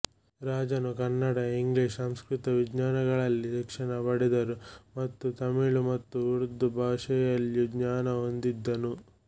ರಾಜರು ಕನ್ನಡ ಇಂಗ್ಲಿಷ್ ಸಂಸ್ಕೃತ ವಿಜ್ಞಾನಗಳಲ್ಲಿ ಶಿಕ್ಷಣ ಪಡೆದರು ಮತ್ತು ತಮಿಳು ಮತ್ತು ಉರ್ದು ಭಾಷೆಯಲ್ಲೂ ಜ್ಞಾನ ಹೊಂದಿದ್ದನು